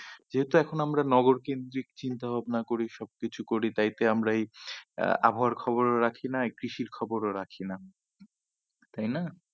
যেহেতু এখন আমরা নগরকেদ্রিক চিন্তা ভাবনা করি সব কিছু করি তাই তো আমরা এই আহ আবহাওয়ার খবরও রাখি না কৃষির খবরও রাখি না তাই না?